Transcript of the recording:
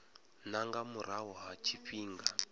na nga murahu ha tshifhinga